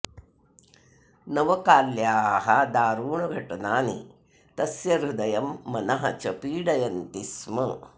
नवकाल्याः दारुणघटनानि तस्य हृदयं मनः च पीडयन्ति स्म